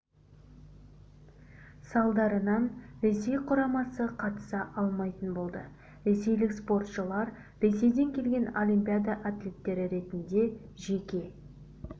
салдарынан ресей құрамасы қатыса алмайтын болды ресейлік спортшылар ресейден келген олимпиада атлеттері ретінде жеке